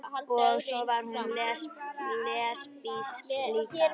Og svo var hún lesbísk líka.